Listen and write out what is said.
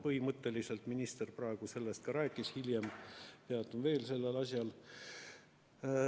Põhimõtteliselt minister praegu sellest ka rääkis, hiljem peatun veel sellel asjal.